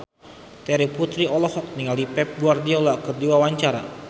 Terry Putri olohok ningali Pep Guardiola keur diwawancara